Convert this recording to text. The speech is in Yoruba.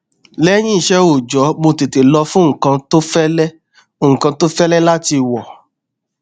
lẹyìn iṣẹ òòjọ mo tètè lọ fún nnkan tó fẹlẹ nnkan tó fẹlẹ láti wọ